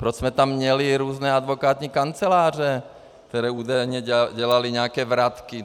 Proč jsme tam měli různé advokátní kanceláře, které údajně dělaly nějaké vratky.